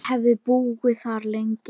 Hann hefði búið þar lengi.